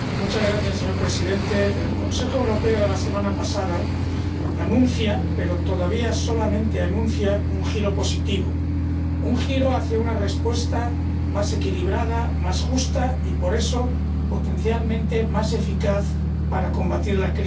Señor Presidente, el Consejo Europeo de la semana pasada anuncia, pero todavía solamente anuncia, un giro positivo, un giro hacia una respuesta más equilibrada, más justa y, por eso, potencialmente más eficaz para combatir la crisis